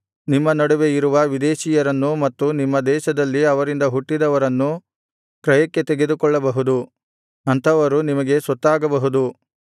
ನಿಮ್ಮ ನಡುವೆ ಇರುವ ವಿದೇಶಿಯರನ್ನೂ ಮತ್ತು ನಿಮ್ಮ ದೇಶದಲ್ಲಿ ಅವರಿಂದ ಹುಟ್ಟಿದವರನ್ನೂ ಕ್ರಯಕ್ಕೆ ತೆಗೆದುಕೊಳ್ಳಬಹುದು ಅಂಥವರು ನಿಮಗೆ ಸೊತ್ತಾಗಬಹುದು